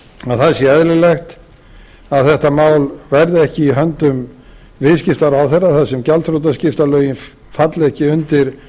að það sé eðlilegt að þetta mál verði ekki í höndum viðskiptaráðherra þar sem gjaldþrotaskiptalögin falli ekki undir